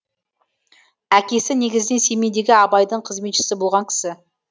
әкесі негізінен семейдегі абайдың қызметшісі болған кісі